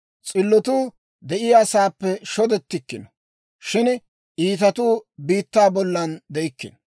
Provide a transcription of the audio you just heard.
S'illotuu de'iyaasaappe shodettikkino; shin iitatuu biittaa bolla de'ikkino.